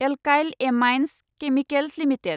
alkyl Amines Chemicals limited